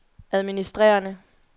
administrerende